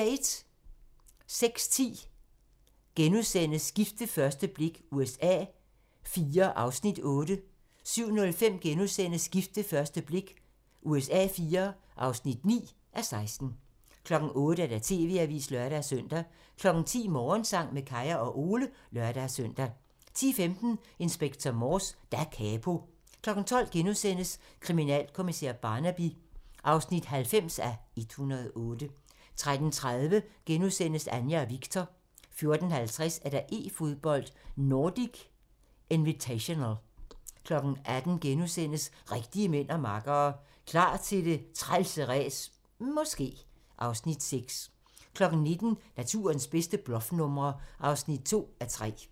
06:10: Gift ved første blik USA IV (8:16)* 07:05: Gift ved første blik USA IV (9:16)* 08:00: TV-avisen (lør-søn) 10:00: Morgensang med Kaya og Ole (lør-søn) 10:15: Inspector Morse: Da capo 12:00: Kriminalkommissær Barnaby (90:108)* 13:30: Anja efter Viktor * 14:50: E-fodbold: Nordic Invitational 18:00: Rigtige mænd og makkere - Klar til det trælse ræs - måske... (Afs. 6)* 19:00: Naturens bedste bluffnumre (2:3)